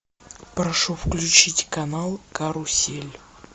прошу включить канал карусель